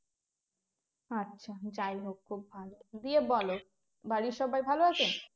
আচ্ছা যাই হোক খুব ভালো দিয়ে বলো বাড়ির সবাই ভালো আছেন